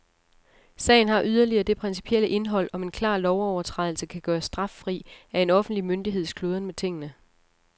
Sagen har yderligere det principielle indhold, om en klar lovovertrædelse kan gøres straffri af en offentlig myndigheds kludren med tingene.